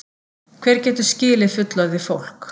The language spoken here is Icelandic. Hver getur skilið fullorðið fólk?